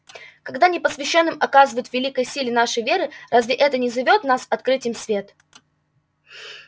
когда непосвящённым отказывают в великой силе нашей веры разве это не зовёт нас открыть им свет